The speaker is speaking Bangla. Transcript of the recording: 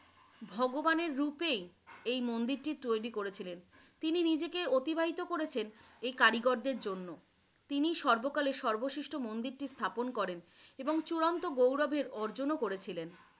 ভগবানের রূপেই এই মন্দিরটি তৈরী করেছিলেন, তিনি নিজেকে অতিবাহিত করেছেন এই কারিগরদের জন্য। তিনি সর্বকালের সর্বশ্রেষ্ঠ মন্দিরটি স্থাপন করেন এবং চূড়ান্ত গৌরবের অর্জনও করেছিলেন।